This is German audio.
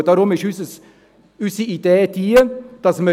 Deshalb ist unsere Idee, die Kosten zu halbieren.